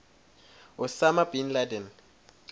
osama bin laden